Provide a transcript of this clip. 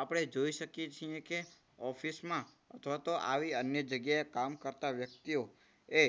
આપણે જોઈ શકીએ છીએ કે office માં અથવા તો આવી અન્ય જગ્યાએ કામ કરતા વ્યક્તિઓ એ